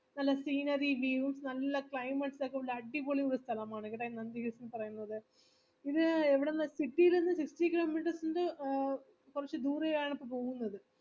scenery views നല്ല climates ഒക്കെ ഉള്ള നല്ല അടിപൊളി ഒരു സ്ഥലമാണ് കെട്ടാ nandi hills എന്നു പറയുന്നത് ഇത് എവിടുന്ന് city ന്ന് ഒരു fifteen kilometers ൻറെ ദൂരെയാണ് ഇപ്പൊ പോകുന്നത്